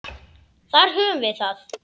Þar höfðum við það.